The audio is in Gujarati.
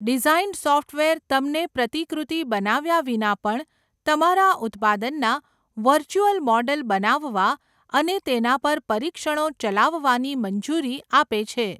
ડિઝાઇન સૉફ્ટવેર તમને પ્રતિકૃતિ બનાવ્યા વિના પણ તમારા ઉત્પાદનના વર્ચ્યુઅલ મોડલ બનાવવા અને તેના પર પરીક્ષણો ચલાવવાની મંજૂરી આપે છે.